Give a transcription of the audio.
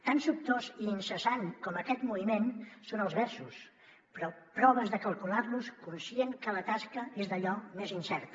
tan sobtós i incessant com aquest moviment són els versos però proves de calcular los conscient que la tasca és d’allò més incerta